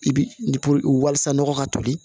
I bi walasa nɔgɔ ka toli